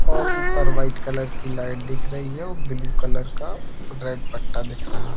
और ऊपर white colour की लाइट दिख रही है वह ब्लू कलर का रेड बैग दिख रहा है।